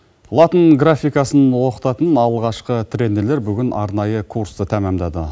латын графикасын оқытатын алғашқы тренерлер бүгін арнайы курсты тәмамдады